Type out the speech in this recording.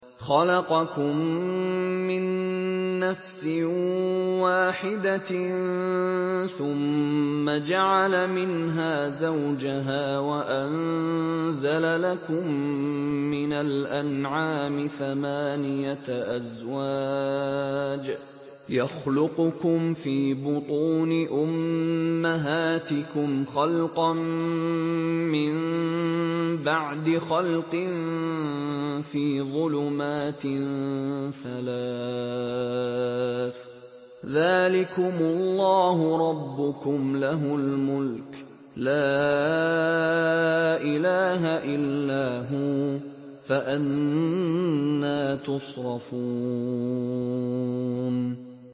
خَلَقَكُم مِّن نَّفْسٍ وَاحِدَةٍ ثُمَّ جَعَلَ مِنْهَا زَوْجَهَا وَأَنزَلَ لَكُم مِّنَ الْأَنْعَامِ ثَمَانِيَةَ أَزْوَاجٍ ۚ يَخْلُقُكُمْ فِي بُطُونِ أُمَّهَاتِكُمْ خَلْقًا مِّن بَعْدِ خَلْقٍ فِي ظُلُمَاتٍ ثَلَاثٍ ۚ ذَٰلِكُمُ اللَّهُ رَبُّكُمْ لَهُ الْمُلْكُ ۖ لَا إِلَٰهَ إِلَّا هُوَ ۖ فَأَنَّىٰ تُصْرَفُونَ